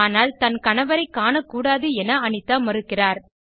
ஆனால் தன் கணவரை காணக் கூடாது என அனிதா மறுக்கிறார்